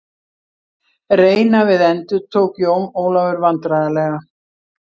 Reyna við endurtók Jón Ólafur vandræðalega.